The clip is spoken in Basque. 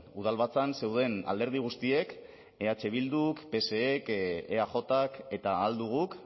udalbatzan zeuden alderdi guztiek eh bilduk psek eajk eta ahal duguk